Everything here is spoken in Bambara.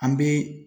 An bɛ